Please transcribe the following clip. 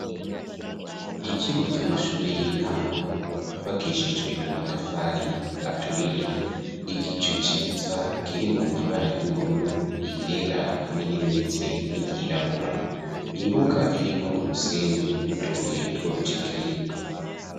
Ikigo c'amashure y'intango, cubakishijwe amatafari aturiye, igicu ciza kirimwo ibara ry'ubururu, iryera hamwe n'irimeze nk'iryirabura, imbuga irimwo umusenyi n'utubuye tw'urucekeri.